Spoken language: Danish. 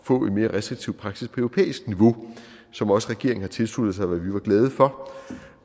få en mere restriktiv praksis på europæisk niveau som også regeringen har tilsluttet sig hvad vi var glade for